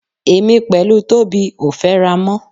Èmi pẹ̀lú Tóbi ò fẹ́ra mọ́.